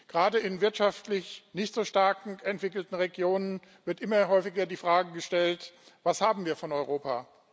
Gerade in wirtschaftlich nicht so stark entwickelten Regionen wird immer häufiger die Frage gestellt Was haben wir von Europa?